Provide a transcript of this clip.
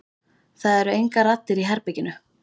Það eru engar raddir í herberginu.